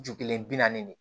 Ju kelen bi naani de